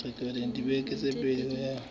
dibeke tse pedi ho ya